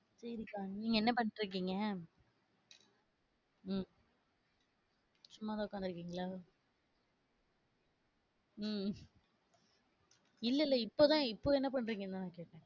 சரிங்க அக்கா நீங்க என்ன பண்ணிட்டு இருக்கீங்க? உம் சும்மாதான் உக்காந்து இருக்கீங்களா? உம் இல்ல, இல்ல இப்பதான் இப்ப என்ன பண்றீங்க கேக்குறேன்.